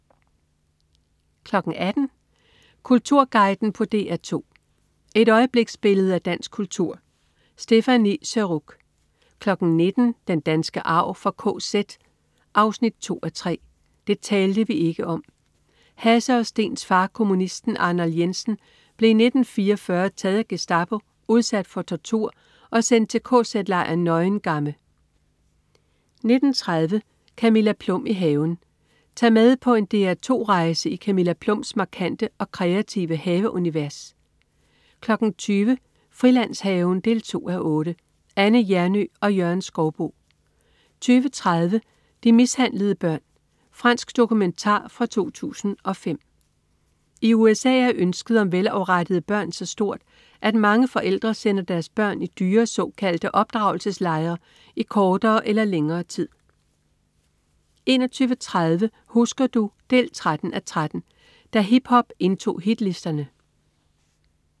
18.00 Kulturguiden på DR2. Et øjebliksbillede af dansk kultur. Stéphanie Surrugue 19.00 Den danske arv fra KZ 2:3. Det talte vi ikke om. Hasse og Steens far, kommunisten Arnold Jensen, blev i 1944 taget af Gestapo, udsat for tortur og sendt til kz-lejren Neuengamme 19.30 Camilla Plum i haven. Tag med på en DR2sk rejse i Camilla Plums markante og kreative haveunivers 20.00 Frilandshaven 2:8. Anne Hjernøe og Jørgen Skouboe 20.30 De mishandlede børn. Fransk dokumentar fra 2005. I USA er ønsket om velafrettede børn så stort, at mange forældre sender deres børn i dyre, såkaldte opdragelseslejre i kortere eller længere tid 21.30 Husker du? 13:13. Da hiphop indtog hitlisterne